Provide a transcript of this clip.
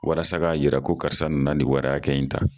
Walasa k'a yira ko karisa nana nin wari hakɛ in ta